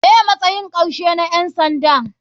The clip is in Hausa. Me matsayin karshe na ƴan sanda.